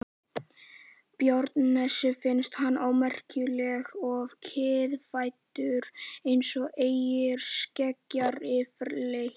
Barónessunni finnst hann ómerkilegur og kiðfættur eins og eyjarskeggjar yfirleitt.